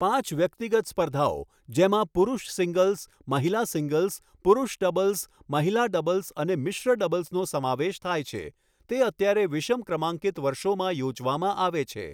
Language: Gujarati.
પાંચ વ્યક્તિગત સ્પર્ધાઓ, જેમાં પુરૂષ સિંગલ્સ, મહિલા સિંગલ્સ, પુરૂષ ડબલ્સ, મહિલા ડબલ્સ અને મિશ્ર ડબલ્સનો સમાવેશ થાય છે, તે અત્યારે વિષમ ક્રમાંકિત વર્ષોમાં યોજવામાં આવે છે.